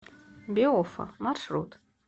биофа маршрут